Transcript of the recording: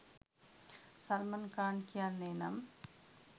සල්මන් ඛාන් කියන්නේ නම්